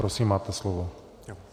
Prosím, máte slovo.